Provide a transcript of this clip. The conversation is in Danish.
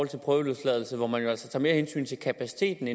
til prøveløsladelser hvor man jo altså tager mere hensyn til kapaciteten